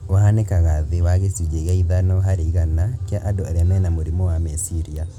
ũhanĩkaga thĩ wa gĩcunjĩ gĩa ithano harĩ igana kia andũ arĩa mena mũrimũ wa meciria